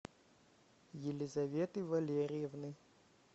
елизаветы валерьевны